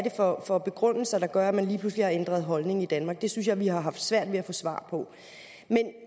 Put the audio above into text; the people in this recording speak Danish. for begrundelser der gør at man lige pludselig har ændret holdning i danmark det synes jeg at vi har haft svært ved at få svar på